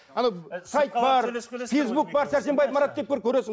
анау сайт бар фейсбук бар сәрсенбаев марат көресің